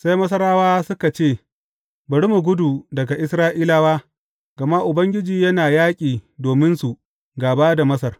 Sai Masarawa suka ce, Bari mu gudu daga Isra’ilawa gama Ubangiji yana yaƙi dominsu gāba da Masar.